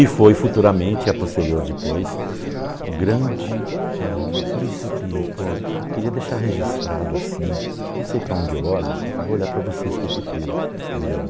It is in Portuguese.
E foi futuramente, a posterior depois, o grande... ãhn... Por isso que, pô, eu queria deixar registrado assim, eu não sei para onde eu olho, eu vou olhar para vocês que eu prefiro, melhor.